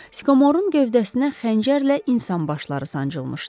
Sikommorun gövdəsinə xəncərlə insan başları sancılmışdı.